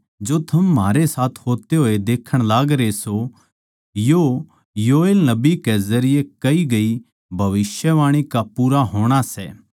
जो म्हारै होया सै या वा बात सै वा योएल नबी कै जरिये कही गई भविष्यवाणी सै